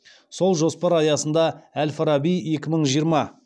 сол жоспар аясында әл фараби екі мың жиырма